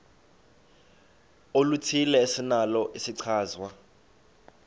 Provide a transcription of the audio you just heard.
oluthile esinalo isichazwa